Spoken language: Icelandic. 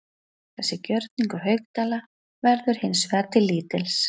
Þessi gjörningur Haukdæla verður hins vegar til lítils.